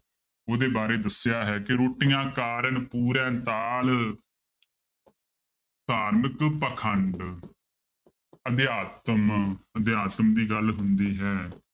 ਉਹਦੇ ਬਾਰੇ ਦੱਸਿਆ ਹੈ ਕਿ ਰੋਟੀਆ ਕਾਰਣਿ ਪੂਰਹਿ ਤਾਲ ਧਾਰਮਿਕ ਪਾਖੰਡ ਅਧਿਆਤਮ ਅਧਿਆਤਮ ਦੀ ਗੱਲ ਹੁੰਦੀ ਹੈ,